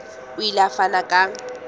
o ile a fana ka